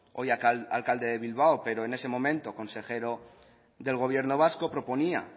hoy alcalde de bilbao pero en ese momento consejero del gobierno vasco proponía